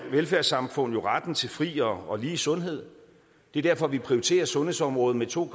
velfærdssamfund jo retten til fri og lige sundhed det er derfor vi prioriterer sundhedsområdet med to